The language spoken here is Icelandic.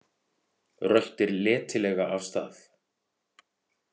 Röltir letilega af stað.